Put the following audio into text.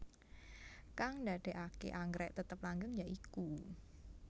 Kang ndadekake anggrèk tetep langgeng ya iku